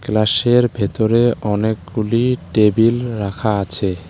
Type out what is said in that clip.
ক্লাসের ভেতরে অনেকগুলি টেবিল রাখা আছে।